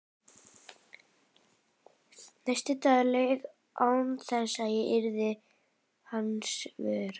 Næsti dagur leið án þess að ég yrði hans vör.